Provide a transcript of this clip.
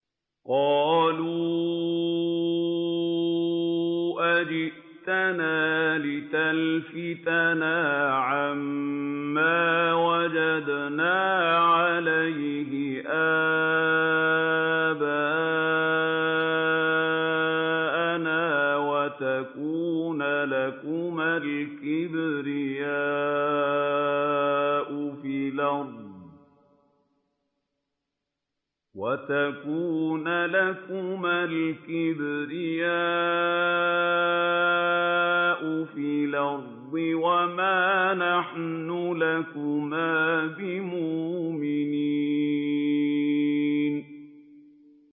قَالُوا أَجِئْتَنَا لِتَلْفِتَنَا عَمَّا وَجَدْنَا عَلَيْهِ آبَاءَنَا وَتَكُونَ لَكُمَا الْكِبْرِيَاءُ فِي الْأَرْضِ وَمَا نَحْنُ لَكُمَا بِمُؤْمِنِينَ